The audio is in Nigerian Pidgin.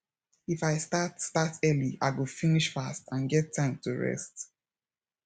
if i start start early i go finish fast and get time to rest